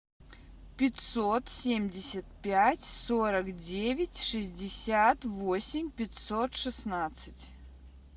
пятьсот семьдесят пять сорок девять шестьдесят восемь пятьсот шестнадцать